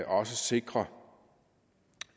også sikrer